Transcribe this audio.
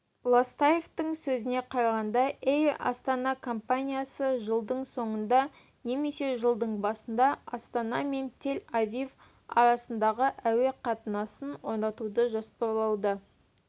ластаевтың сөзіне қарағанда эйр астана компаниясы жылдың соңында немесе жылдың басында астана мен тель-авив арасында әуе қатынасын орнатуды жоспарлауда